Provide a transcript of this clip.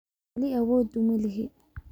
Wali awood uma lihi